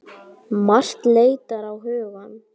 Margt leitar á hugann.